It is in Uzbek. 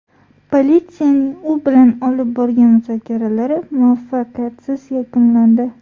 Politsiyaning u bilan olib borgan muzokaralari muvaffaqiyatsiz yakunlandi.